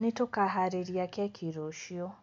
Nĩtũkaharĩrĩria keki rũciũ